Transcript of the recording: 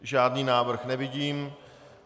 Žádný návrh nevidím.